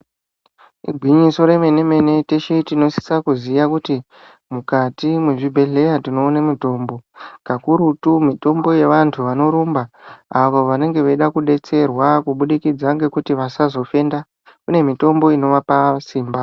Igwinyiso remene mene teshe tinosisa kuziya kuti mukati mezvibhedhlera tinoona mitombo kakurutu mitombo yevandu vanorumba avo vanenge vachida kudetserwa kubudikidza ngekuti vasazofenda kune mitombo inovapa simba.